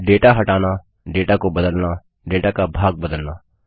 data हटाना data को बदलना डेटा का भाग बदलना